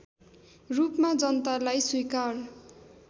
रूपमा जनतालाई स्वीकार